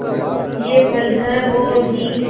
ये पल हैं वो ही